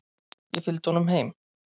Ég fylgdi honum heim.